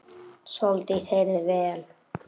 Sóldís heyrði vel.